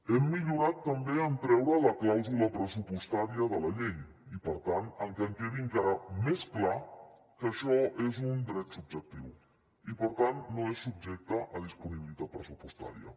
hem millorat també en treure la clàusula pressupostària de la llei i per tant en que quedi encara més clar que això és un dret subjectiu i per tant no és subjecte a disponibilitat pressupostària